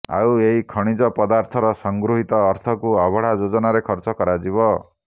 ଆଉ ଏହି ଖଣିଜ ପଦାର୍ଥର ସଂଗୃହୀତ ଅର୍ଥକୁ ଅବଢା ଯୋଜନାରେ ଖର୍ଚ୍ଚ କରାଯିବ